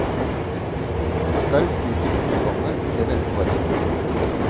En skarv flyter dypt i vannet, vi ser nesten bare halsen og hodet.